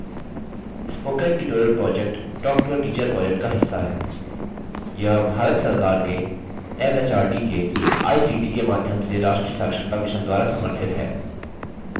spoken tutorial project talktoateacher project का हिस्सा है यह भारत सरकार के एमएचआरडी के आईसीटी के माध्यम से राष्ट्रीय साक्षरता mission द्वारा समर्थित है